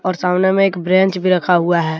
और सामने में एक ब्रेंच भी रखा हुआ है।